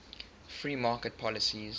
free market policies